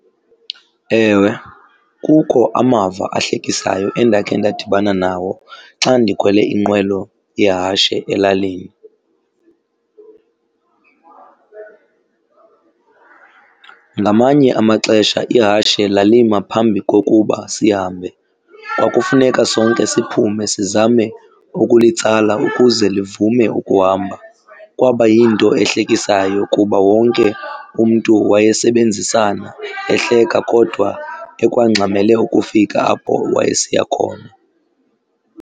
Ewe, kukho amava ahlekisayo endakhe ndadibana nawo xa ndikhwele inqwelo yehashe elalini. Ngamanye amaxesha ihashe lalima phambi kokuba sihambe. Kwakufuneka sonke siphume sizame ukulitsala ukuze livume ukuhamba. Kwaba yinto ehlekisayo kuba wonke umntu wayesebenzisana, ehleka kodwa ekwangxamele ukufika apho wayesiya khona.